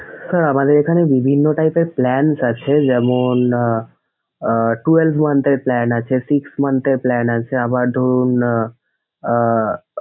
Sir আমাদের এখানে বিভিন্ন type এর plans আছে। যেমনঃ আহ twelve month এর plan আছে, six month এর plan আছে, আবার ধরুন আহ আহ,